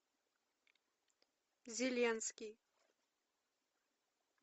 зеленский